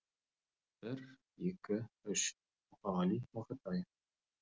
бір екі үш мұқағали мақатаев